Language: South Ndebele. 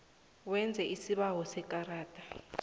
wenze isibawo sekarada